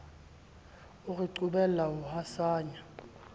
o re qobella ho hasanya